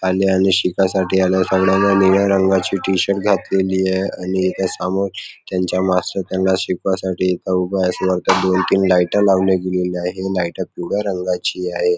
आणि आणि शिकाय साठी निळ्या रंगाची टी-शर्ट घातलेली आहे आणि इथ समोर त्यांच मास्तर त्यांना शिकवाय साठी इथ उभा आहे असं वाटतंय दोन तीन लाइट लावली गेलेली आहे लाइट पिवळ्या रंगाची आहे.